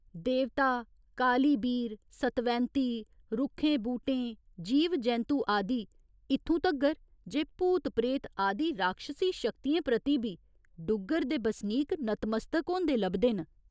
देवता, कालीबीर, सतवैंती, रुक्खें बूह्टें जीव जैंतु आदि इत्थुं तगर ते भूत प्रेत आदि राक्षसी शक्तियें प्रति बी डुग्गर दे बसनीक नत मस्तक होंदे लभदे न।